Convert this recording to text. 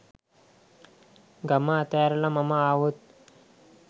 ගම අතහැරලා මම ආවොත්